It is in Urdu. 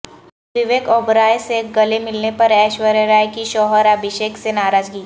وویک اوبرائے سے گلے ملنے پر ایشوریہ کی شوہر ابھیشیک سے ناراضگی